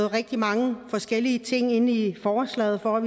rigtig mange forskellige ting ind i forslaget for at